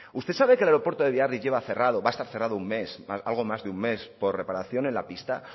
usted sabe que el aeropuerto de biarritz lleva cerrado va a estar cerrado un mes algo más de un mes por reparación en la pista